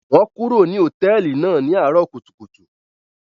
Wọn kúrò ní hotẹẹli náà ní arọ kùtùkùtù